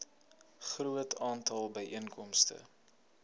groot aantal byeenkomste